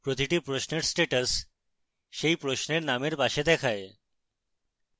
প্রতিটি প্রশ্নের status সেই প্রশ্নের নামের পাশে দেখায়